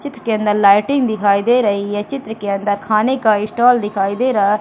चित्र के अंदर लाइटिंग दिखाई दे रही है चित्र के अंदर खाने का ईस्टॉल दिखाई दे रहा है।